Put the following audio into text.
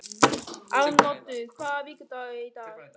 Arnoddur, hvaða vikudagur er í dag?